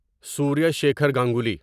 Surya Shekhar Ganguly